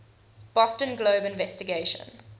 boston globe investigation